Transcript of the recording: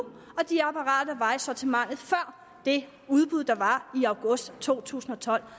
og de apparater der var i sortimentet før det udbud der var i august to tusind og tolv